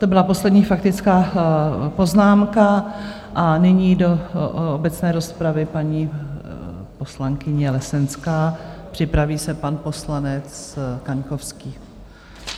To byla poslední faktická poznámka a nyní do obecné rozpravy paní poslankyně Lesenská, připraví se pan poslanec Kaňkovský.